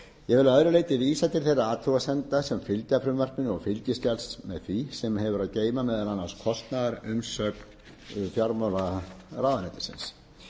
ég vil að öðru leyti vísa til þeirra athugasemda sem fylgja frumvarpinu og fylgiskjals með því sem hefur að geyma meðal annars kostnaðarumsögn fjármálaráðuneytisins ég legg auk